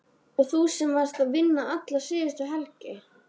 Og þú sem varst að vinna alla síðustu helgi!